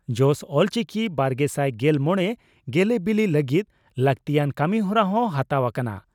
ᱡᱚᱥ ᱚᱞᱪᱤᱠᱤ ᱵᱟᱨᱜᱮᱥᱟᱭ ᱜᱮᱞ ᱢᱚᱲᱮ ᱜᱮᱞᱮᱵᱤᱞᱤ ᱞᱟᱹᱜᱤᱫ ᱞᱟᱹᱜᱛᱤᱭᱟᱱ ᱠᱟᱹᱢᱤᱦᱚᱨᱟ ᱦᱚᱸ ᱦᱟᱛᱟᱣ ᱟᱠᱟᱱᱟ ᱾